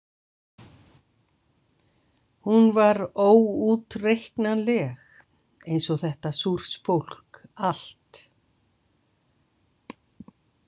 Hún var óútreiknanleg eins og þetta Súrsfólk allt.